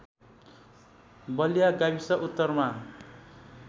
बलिया गाविस उत्तरमा